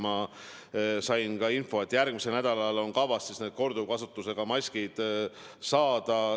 Ma sain info, et järgmisel nädalal on kavas need korduvkasutusega maskid saada.